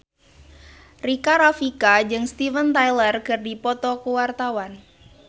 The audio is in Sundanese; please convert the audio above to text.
Rika Rafika jeung Steven Tyler keur dipoto ku wartawan